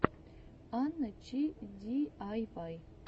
анна чи диайвай